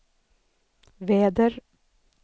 väder